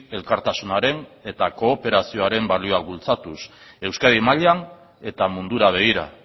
elkartasunaren eta kooperazioaren balioak bultzatuz euskadi mailan eta mundura begira